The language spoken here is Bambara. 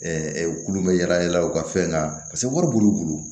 u kulu bɛ yala yala u ka fɛn kan paseke wari b'u bolo